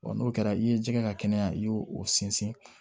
n'o kɛra i ye ji kɛ ka kɛnɛya i y'o o sinsin